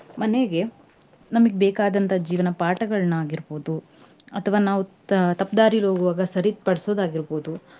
ಮನೆಗೆ ನಮ್ಗೆ ಬೇಕಾದಂತ ಜೀವನ ಪಾಠಗಳನ್ನಾಗಿರ್ಬಹುದು ಅಥವಾ ನಾವ್ ತ~ ತಪ್ಪ ದಾರಿಲಿ ಹೋಗುವಾಗ ಸರಿಪಡ್ಸುದು ಆಗಿರ್ಬಹುದು.